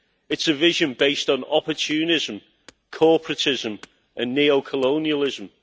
It is a vision based on opportunism, corporatism and neo colonialism.